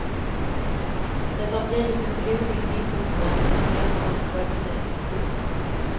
Det har blivit en blodig vittnesbörd om ett sällsamt folknöje. punkt